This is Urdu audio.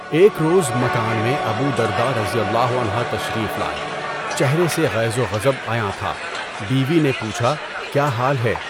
ایک روز مکان میں ابو درداء رضی اللہ عنہ تشریف لائے، چہرہ سے غیظ و غضب عیاں تھا۔ بیوی نے پوچھا کیا حال ہے؟